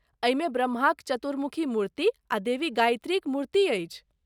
एहिमे ब्रह्माक चतुर्मुखी मूर्ति आ देवी गायत्रीक मूर्ति अछि।